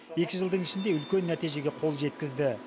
екі жылдың ішінде үлкен нәтижеге қол жеткізді